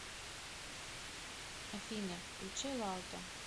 афина включи лаута